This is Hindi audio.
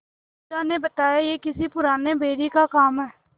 ओझा ने बताया यह किसी पुराने बैरी का काम है